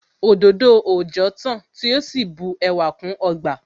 Òdòdó òòjọ́ tán tí ó sì bu ẹwà kún ọgbà